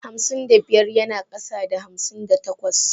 Hamsin da biyar yana kasa da hamsin da takwas.